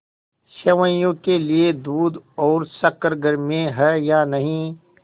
सेवैयों के लिए दूध और शक्कर घर में है या नहीं